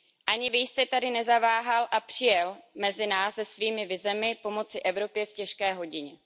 Ani vy jste tedy nezaváhal a přijel jste mezi nás se svými vizemi pomoci Evropě v těžké hodině.